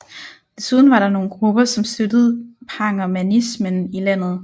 Desuden var der nogle grupper som støttede pangermanismen i landet